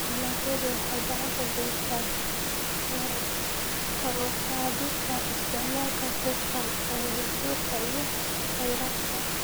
Dalagyadu waxay gacan ka geystaan ??kor u qaadista isticmaalka hufan ee dhulka iyo kheyraadka.